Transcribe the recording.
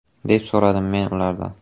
deb so‘radim men ulardan.